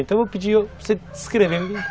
Então eu vou pedir para você descrever.